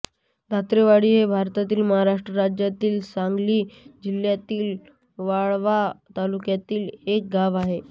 धोत्रेवाडी हे भारतातील महाराष्ट्र राज्यातील सांगली जिल्ह्यातील वाळवा तालुक्यातील एक गाव आहे